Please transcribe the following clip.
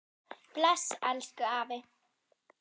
Bless, elsku afi.